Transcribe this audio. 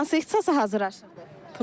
Hansı ixtisasa hazırlaşırdı?